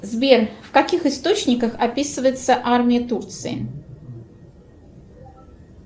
сбер в каких источниках описывается армия турции